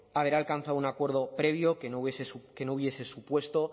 haber alcanzado un acuerdo previo que no hubiese supuesto